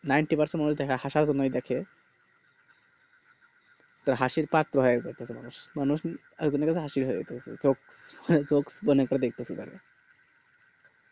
ninty percent মানুষ হাসার জন্যই দেখে তা হাসির পাট দেখে মানুষ মানুষ ই একমাত্র হাসির হয় তো